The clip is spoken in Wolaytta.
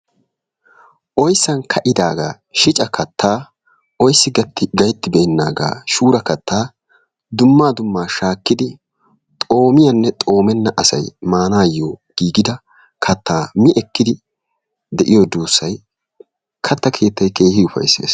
Oysan ka'idaagaa shicca kattaa oysa katti gayttibeenaagaa shura kattaa dummaa dummaa shaakkidi xoomiyanne xoomenna asay maanaayo giggida kattaa miekkidi de'iyo duussay kattaa keettay keehi ufayssees.